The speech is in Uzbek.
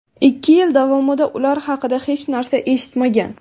Ikki yil davomida ular haqida hech narsa eshitmagan.